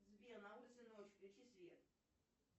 сбер на улице ночь включи свет